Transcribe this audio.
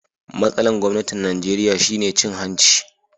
Matsalan gwamnatin Nijeriya shine cin hanci.